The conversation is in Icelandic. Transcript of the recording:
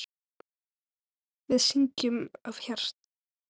Við syngjum af hjarta.